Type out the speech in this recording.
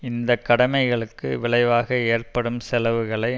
இந்த கடமைகளுக்கு விளைவாக ஏற்படும் செலவுகளை